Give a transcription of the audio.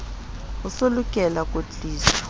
e so lokele kwetliso ya